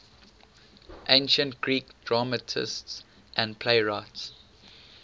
ancient greek dramatists and playwrights